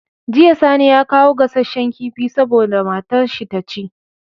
Jiya sani ya kawo gassashen kifi saboda matar shi taci